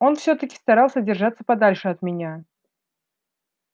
он всё-таки старался держаться подальше от меня